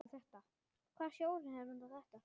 Hvaða sjóður er nú þetta?